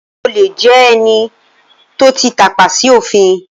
Olè jẹ́ ẹni tó ti tàpa sí òfin